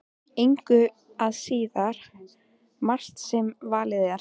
Engu að síður margt sem valið er.